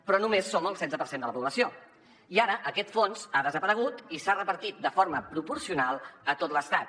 però només som el setze per cent de la població i ara aquest fons ha desaparegut i s’ha repartit de forma proporcional a tot l’estat